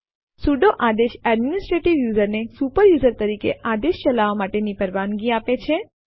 sudo આદેશ administrative user ને super user તરીકે આદેશ ચલાવવા માટેની પરવાનગી આપે છે